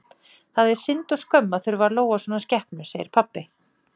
Það er synd og skömm að þurfa að lóga svona skepnu, segir pabbi.